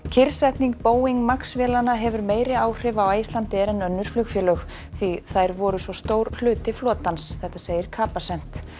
kyrrsetning Boeing MAX vélanna hefur meiri áhrif á Icelandair en önnur flugfélög því þær voru svo stór hluti flotans segir Capacent